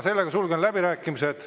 Sulgen läbirääkimised.